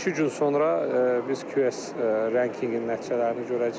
İki gün sonra biz QS rəngkinqin nəticələrini görəcəyik.